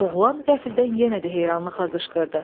Oğlan qəflətən yenə də heyranlıqla qışqırdı.